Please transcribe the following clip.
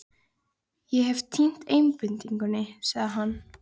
Ég hef týnt einbeitingunni, sagði hann.